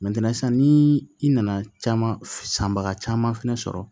sisan ni i nana caman sanbaga caman fɛnɛ sɔrɔ